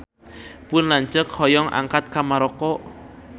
Pun lanceuk hoyong angkat ka Maroko